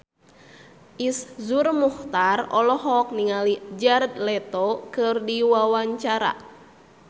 Iszur Muchtar olohok ningali Jared Leto keur diwawancara